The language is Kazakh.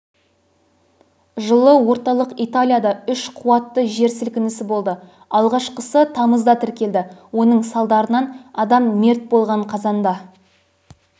жылы орталық италияда үш қуаттыжер сілкінісі болды алғашқысы тамызда тіркелді оның салдарынан адам мерт болған қазанда